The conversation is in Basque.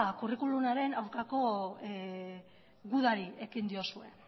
curriculumaren aurkako gudari ekin diozue